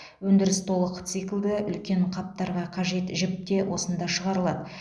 өндіріс толық циклді үлкен қаптарға қажет жіп те осында шығарылады